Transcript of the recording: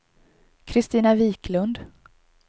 Kristina Viklund